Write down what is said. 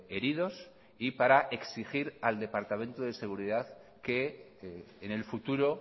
heridos y para exigir al departamento de seguridad que en el futuro